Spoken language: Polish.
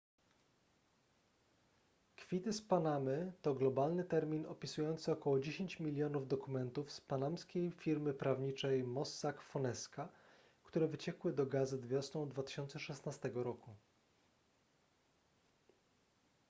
kwity z panamy to globalny termin opisujący około dziesięć milionów dokumentów z panamskiej firmy prawniczej mossack fonesca które wyciekły do gazet wiosną 2016 roku